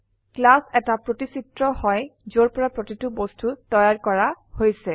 class এটা প্ৰতিচিত্ৰ হয় যৰ পৰা প্ৰতিটি বস্তু তৈয়াৰ কৰা হৈছে